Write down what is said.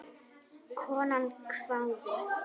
Konan hváði.